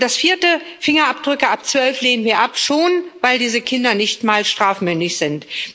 Und das Dritte Fingerabdrücke ab zwölf lehnen wir ab, schon weil diese Kinder nicht mal strafmündig sind.